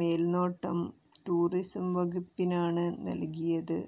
മേല്നോട്ടം tourism വകുപ്പിനാണ് നല്കിയത്